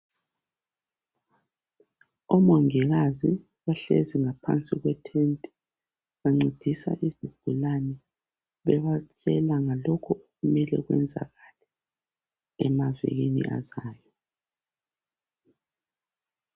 Omongikazi bahlezi ngaphansi kwetende bancedisa izigulane bebatshela ngalokhu okumele kwenzakale emavikini azayo.